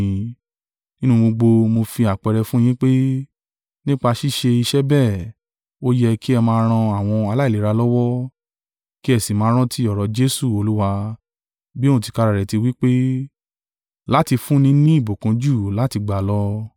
Nínú ohun gbogbo mo fi àpẹẹrẹ fún un yín pé, nípa ṣíṣe iṣẹ́ bẹ́ẹ̀, ó yẹ kí ẹ máa ran àwọn aláìlera lọ́wọ́, ki ẹ sì máa rántí ọ̀rọ̀ Jesu Olúwa, bí òun tìkára rẹ̀ tí wí pé, ‘Láti fún ni ní ìbùkún ju láti gbà lọ.’ ”